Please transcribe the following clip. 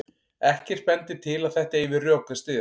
Ekkert bendir til að þetta eigi við rök að styðjast.